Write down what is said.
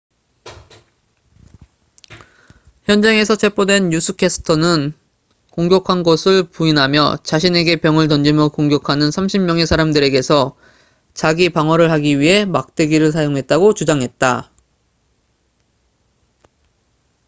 현장에서 체포된 뉴스 캐스터는 공격한 것을 부인하며 자신에게 병을 던지며 공격하는 30명의 사람들에게서 자기방어를 하기 위해 막대기를 사용했다고 주장했다